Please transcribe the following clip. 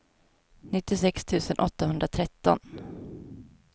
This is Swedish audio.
nittiosex tusen åttahundratretton